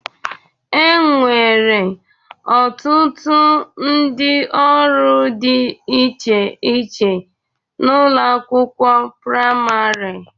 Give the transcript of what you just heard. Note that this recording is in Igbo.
E nwere ọtụtụ ndị ọrụ dị iche iche n'ụlọ akwụkwọ prịmarị..